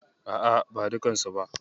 A'a, ba dukkansu ba.